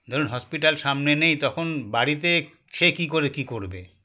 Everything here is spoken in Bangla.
ধরুন hospital সামনে নেই তখন বাড়িতে সে কি করে কি করবে